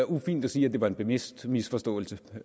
ufint at sige at det var en bevidst misforståelse